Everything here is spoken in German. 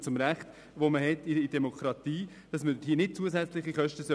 Sie dienen einem gemeinnützigen oder einem politischen Zweck.